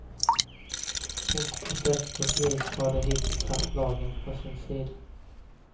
Och på sätt och vis har de hittills haft lagen på sin sida.